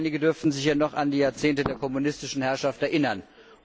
Einige dürfen sich ja noch an die Jahrzehnte der kommunistischen Herrschaft erinnern.